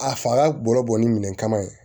A faga bolo bɔnni minɛn kama ye